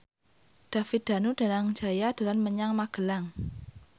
David Danu Danangjaya dolan menyang Magelang